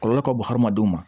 Kɔlɔlɔ ka bon hadamadenw ma